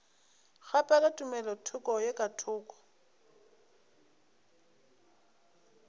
kgaphela tumelothoko ye ka thoko